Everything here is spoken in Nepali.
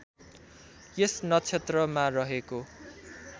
यस नक्षत्रमा रहेको